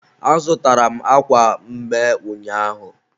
a zụtara m akwa mme ụnyaahụ.